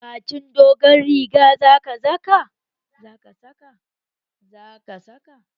Baƙin dogon rigar za ka saka?